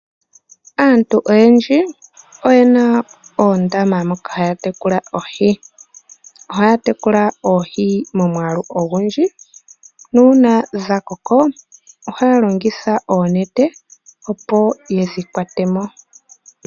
Aantu oyendji oyena oondama moka haya tekula oohi ohaya tekula oohi momwaalu ogundji nuuna dhakoko ohaya longitha oonete opo yedhi kwatemo.